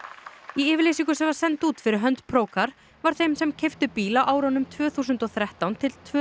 í yfirlýsingu sem var send út fyrir hönd var þeim sem keyptu bíl á árunum tvö þúsund og þrettán til tvö